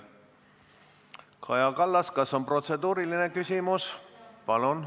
Kaja Kallas, kas on protseduuriline küsimus?